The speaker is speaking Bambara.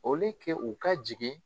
O ke u ka jigin